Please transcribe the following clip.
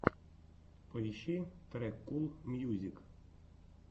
поищи трек кул мьюзик